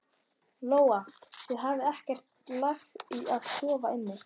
Lóa: Þið hafið ekki lagt í að sofa inni?